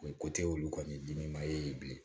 ko tɛ olu kɔni diminen ye bilen